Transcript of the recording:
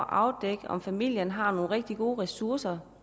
afdække om familien har nogle rigtig gode ressourcer